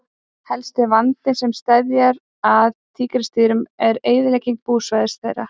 Helsti vandinn sem steðjar að tígrisdýrum er eyðilegging búsvæða þeirra.